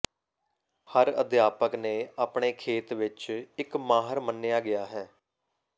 ਹਰ ਅਧਿਆਪਕ ਨੇ ਆਪਣੇ ਖੇਤ ਵਿਚ ਇੱਕ ਮਾਹਰ ਮੰਨਿਆ ਗਿਆ ਹੈ